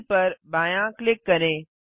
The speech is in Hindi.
ब पर बायाँ क्लिक करें